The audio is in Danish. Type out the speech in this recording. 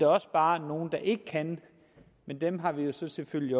også bare nogle der ikke kan men dem har vi jo så selvfølgelig